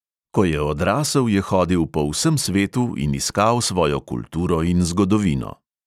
Ko je odrasel, je hodil po vsem svetu in iskal svojo kulturo in zgodovino.